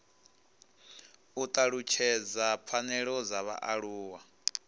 u talutshedza pfanelo dza vhaaluwa